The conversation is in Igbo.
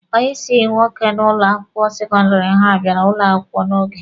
Onye ịsị nwoke n'ụlọ akwụkwọ sekọndịrị ha bịara ụlọ akwụkwọ n'oge.